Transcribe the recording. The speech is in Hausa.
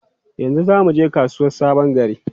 Yau za mu je kasuwar Sabon Gari?